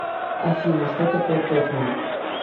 афина что такое тотьма